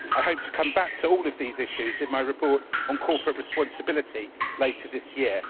I hope to come back to all these issues in my report on corporate responsibility later this year.